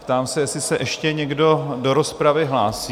Ptám se, jestli se ještě někdo do rozpravy hlásí?